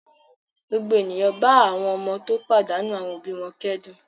Gbogbo ènìyàn bá àwọn ọmọ tó pàdánù àwọn òbí wọn kẹ́dùn.